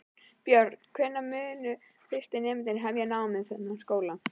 Björn: Hvenær munu fyrstu nemendur hefja nám við þennan skóla?